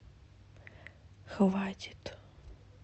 хватит